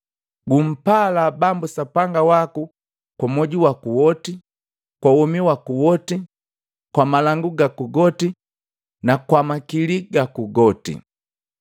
Gumpalaa Bambu Sapanga waku kwa mwoju waku woti, kwa womi waku woti, kwa malangu gaku goti na kwa makili gaku goti.’